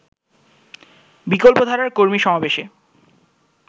বিকল্পধারার কর্মী সমাবেশে